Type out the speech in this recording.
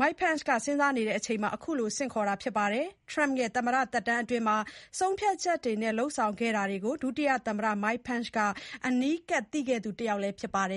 မစ္စတာ Pence က စဉ်းစားနေတဲ့အချိန်မှာ ခုလိုဆင့်ခေါ်တာက ဖြစ်လာတာပါ။ Trump ရဲ့ သမ္မတ သက်တမ်းအတွင်း ဆုံးဖြတ်ချက်တွေနဲ့ လုပ်ဆောင်ခဲ့တာတွေကို ဒုတိယသမ္မတ Pence ဟာ အနီးကပ် သိခဲ့သူတစ်ယောက်လည်း ဖြစ်ပါတယ်